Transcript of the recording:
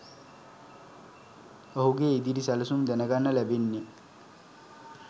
ඔහුගේ ඉදිරි සැලසුම් ගැන දැනගන්න ලැබෙන්නේ